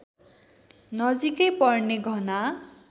नजिकै पर्ने घना